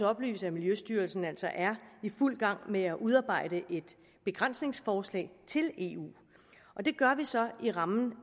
oplyse at miljøstyrelsen altså er i fuld gang med at udarbejde et begrænsningsforslag til eu og det gør vi så i rammen